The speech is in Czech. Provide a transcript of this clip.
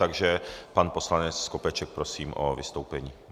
Takže pan poslanec Skopeček, prosím o vystoupení.